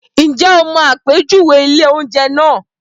Ǹjẹ́ o mọ àpèjúwe ilé-oúnjẹ náà?